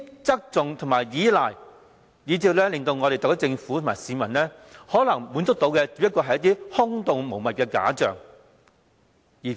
這種側重和依賴，令特區政府和市民，只能夠得到一些空洞無物的假象。